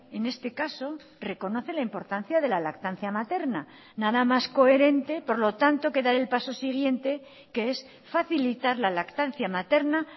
en este caso reconoce la importancia de la lactancia materna nada más coherente por lo tanto que dar el paso siguiente que es facilitar la lactancia materna